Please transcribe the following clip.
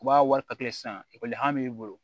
U b'a wari sisan ekɔli b'i bolo